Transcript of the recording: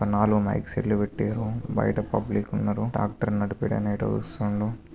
నాలుగు mike set లు పెట్టినరు.బయట పబ్లిక్ ఉన్నరు. ట్రాక్టర్ నడిపేటి ఆయన ఇటే చూస్తుండు.